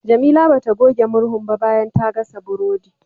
Jamila bata goge murhun ba bayan ta gasa burodi.